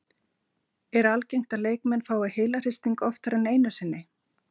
Er algengt að leikmenn fái heilahristing oftar en einu sinni?